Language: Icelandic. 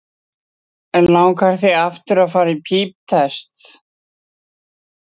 Hrund: En langar þig að fara aftur í píptest?